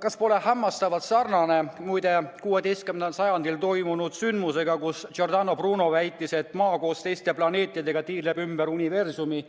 Kas pole hämmastavalt sarnane, muide, 16. sajandil toimunud sündmusega, kui Giordano Bruno väitis, et Maa koos teiste planeetidega tiirleb ümber universumi